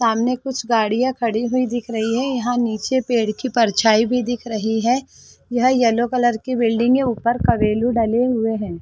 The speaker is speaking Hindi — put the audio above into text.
सामने कुछ गाड़िया खड़ी हुई दिख रही है यहाँ नीचे पेड़ की परछाई भी दिख रही है यह येलो कलर की बिल्डिंग है ऊपर का रेलू डले हुए है।